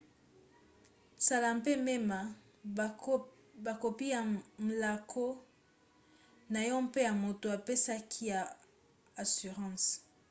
sala mpe mema bakopi ya mlaako na yo mpe ya moto apesaki yo assurance